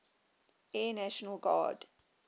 air national guard